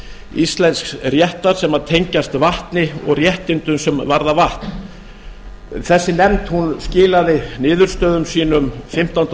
íslensks réttar sem tengjast vatni og réttindum sem varða vatn þessi nefnd skilaði niðurstöðum sínum fimmtánda